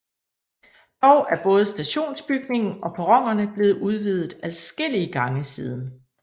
Dog er både stationsbygningen og perronerne blevet udvidet adskillige gange siden